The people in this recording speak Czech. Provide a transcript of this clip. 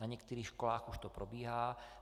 Na některých školách už to probíhá.